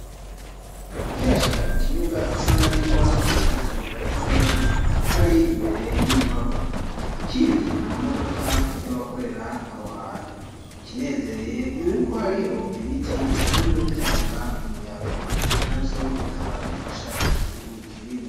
Ukihashika ku kibuga usanganirwa n'akazu gatoya kari imbere y'inyubako ikindi na mamodoka y'abakorera aho hantu ikinezereye n'uko hariho ibiti bisanzwe bitanga umuyaga na byo bikaba bifasha ikintu kinini.